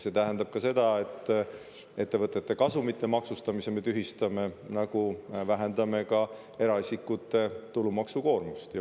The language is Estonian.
See tähendab ka seda, et ettevõtete kasumi maksustamise me tühistame, nagu vähendame ka eraisikute tulumaksukoormust.